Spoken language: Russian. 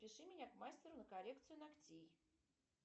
запиши меня к мастеру на коррекцию ногтей